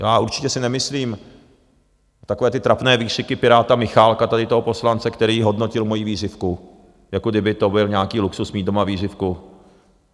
Já určitě si nemyslím - takové ty trapné výkřiky piráta Michálka, tady toho poslance, který hodnotil moji vířivku, jako kdyby to byl nějaký luxus mít doma vířivku.